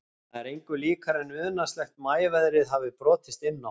Það er engu líkara en unaðslegt maíveðrið hafi brotist inn á